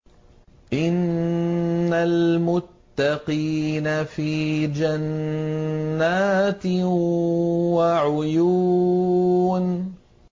إِنَّ الْمُتَّقِينَ فِي جَنَّاتٍ وَعُيُونٍ